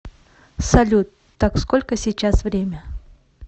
салют так сколько сейчас время